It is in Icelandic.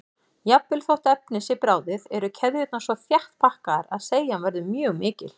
Jafnvel þótt efnið sé bráðið eru keðjurnar svo þétt pakkaðar að seigjan verður mjög mikil.